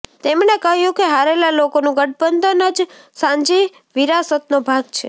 તેમણે કહ્યું કે હારેલા લોકોનું ગઠબંધન જ સાંજી વિરાસતનો ભાગ છે